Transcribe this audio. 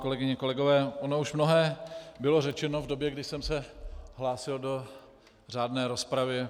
Kolegyně, kolegové, ono už mnohé bylo řečeno v době, kdy jsem se hlásil do řádné rozpravy.